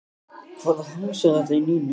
Hvaða hangs er þetta í Nínu?